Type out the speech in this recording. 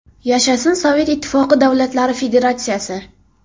Yashasin Sovet Ittifoqi davlatlari federatsiyasi!